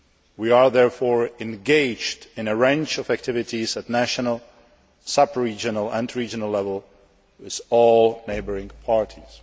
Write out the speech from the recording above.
We are therefore engaged in a range of activities at national, sub regional and regional level with all neighbouring parties.